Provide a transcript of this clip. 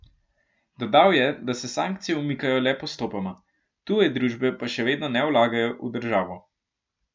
Dodal je, da se sankcije umikajo le postopoma, tuje družbe pa še vedno ne vlagajo v državo.